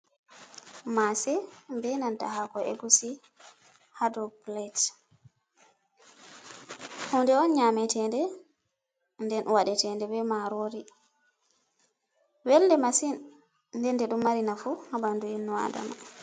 Mase be nanta hako egusi ha dau plet. Hunde on nyametede nde. Nden waɗe tende be marori. Welnde masin, nden den ɗum mari nafu ha ɓandu inno Adama.